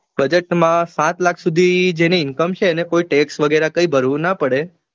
Budget માં સાત લાખ સુધી જેની income છે એને કોઈ text વગેરે કાંઈ ભરવું ના પડે.